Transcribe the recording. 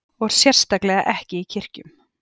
Og sérstaklega ekki í kirkjum.